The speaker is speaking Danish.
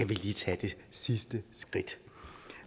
lige tage det sidste skridt